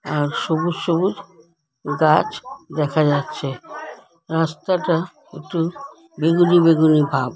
আর সবুজ সবুজ গাছ দেখা যাচ্ছে রাস্তাটা একটু বেগুনি বেগুনি ভাব।